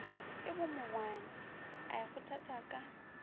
ke bomogwane a ikgothatša ka